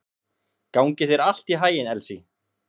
Gangi þér allt í haginn, Elsý.